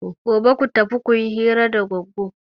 Gobe ku tafi ku yi hira da Goggo!